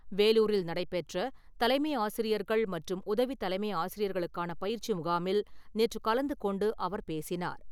வேலுாரில் நடைபெற்ற தலைமை ஆசிரியர்கள் மற்றும் உதவி தலைமை ஆசிரியர்களுக்கான பயிற்சி முகாமில் நேற்று கலந்துகொண்டு அவர் பேசினார்.